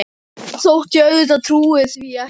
Þótt ég auðvitað trúi því ekki.